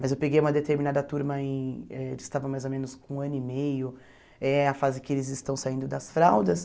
Mas eu peguei uma determinada turma em, eh eles estavam mais ou menos com um ano e meio, é a fase que eles estão saindo das fraldas.